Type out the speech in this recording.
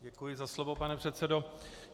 Děkuji za slovo, pane předsedo.